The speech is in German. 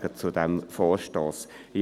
Nein zu diesem Vorstoss sagen.